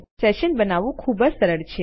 session બનાવવું ખૂબ જ સરળ છે